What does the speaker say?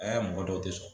Aa mɔgɔ dɔw te sɔn